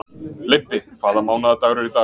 Leibbi, hvaða mánaðardagur er í dag?